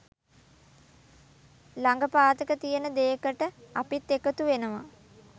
ලග පාතක තියෙන දේකට අපිත් එකතුවෙනවා.